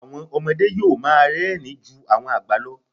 Àwọn ọmọdé yó́ò máa érìn-ín ju àwọn àgbà lọ.